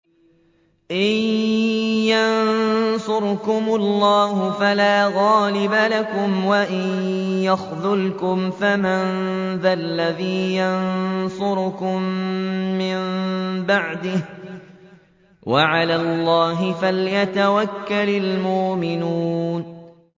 إِن يَنصُرْكُمُ اللَّهُ فَلَا غَالِبَ لَكُمْ ۖ وَإِن يَخْذُلْكُمْ فَمَن ذَا الَّذِي يَنصُرُكُم مِّن بَعْدِهِ ۗ وَعَلَى اللَّهِ فَلْيَتَوَكَّلِ الْمُؤْمِنُونَ